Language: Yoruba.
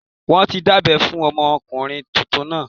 Wọ́n ti dábẹ́ fún ọmọkùnrin tuntun náà